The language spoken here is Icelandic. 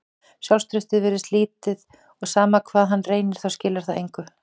Sjálfstraustið virðist lítið og sama hvað hann reynir þá skilar það engu.